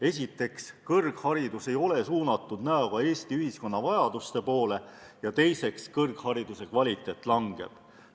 Esiteks, kõrgharidus ei ole suunatud näoga Eesti ühiskonna vajaduste poole, ja teiseks, kõrghariduse kvaliteet kahaneb.